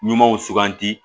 Ɲumanw suganti